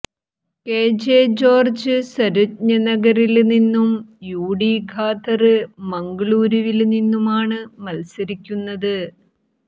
K J George സര്വജ്ഞനഗറില് നിന്നും U T Khader മംഗളൂരുവില് നിന്നുമാണ് മത്സരിക്കുന്നത്